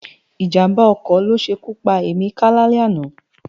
Ijámbá òkò lósékú pá Emeka lálè àná